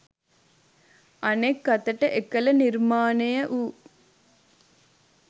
අනෙක් අතට එකල නිර්මාණය වූ